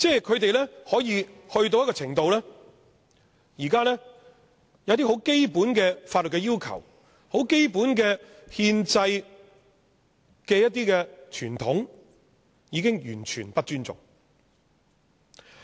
他們行事可以去到一個程度，便是現在有些很基本的法律要求、很基本的憲制傳統，它已經完全不尊重。